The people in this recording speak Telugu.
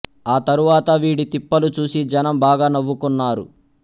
ఆ తరువాత వీడి తిప్పలు చూసి జనం బాగా నవ్వుకొన్నారు